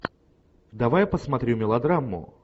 давай я посмотрю мелодраму